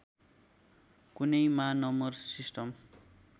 कुनैमा number system